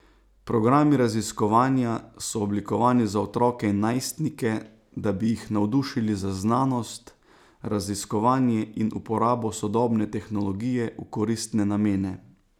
Programi raziskovanja so oblikovani za otroke in najstnike, da bi jih navdušili za znanost, raziskovanje in uporabo sodobne tehnologije v koristne namene.